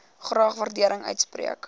graag waardering uitspreek